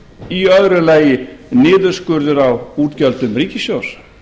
í öðru lagi niðurskurður á útgjöldum ríkissjóðs